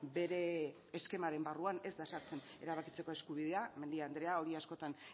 bere eskemaren barruan ez da sartzen erabakitzeko eskubidea mendia andrea hori askotan